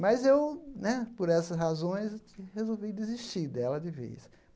Mas eu né, por essas razões, resolvi desistir dela de vez.